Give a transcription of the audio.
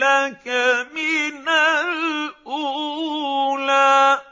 لَّكَ مِنَ الْأُولَىٰ